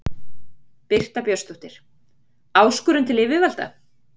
Birta Björnsdóttir: Áskorun til yfirvalda?